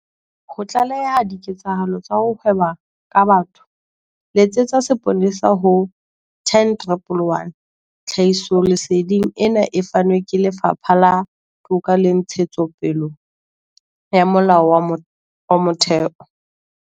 Ho tlaleha diketsahalo tsa ho hweba ka batho letsetsa seponesa ho- 10111. Tlhahisoleseding ena e fanwe ke Lefapha la Toka le Ntshetsopele ya Molao wa Motheo.